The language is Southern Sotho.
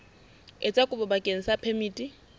etsa kopo bakeng sa phemiti